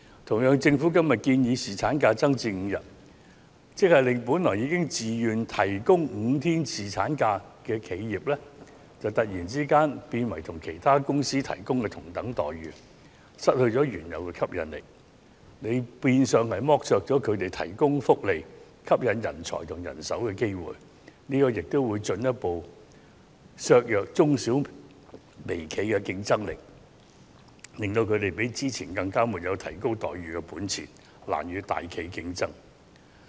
同樣地，政府今天建議把侍產假增至5天，便會令原本自願提供5天侍產假的企業突然變成與其他公司提供的待遇相同，失去原有的吸引力，變相剝削了他們提供福利以吸引人才和人手的機會，亦會進一步剝弱中小企和微企的競爭力，使他們進一步失去提高待遇的本錢，難與大企業競爭。